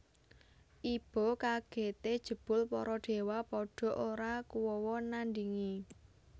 Iba kagèté jebul para déwa padha ora kuwawa nandhingi